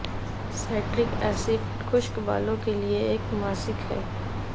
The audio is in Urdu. سائٹرک ایسڈ خشک بالوں کے لئے ایک ماسک ہے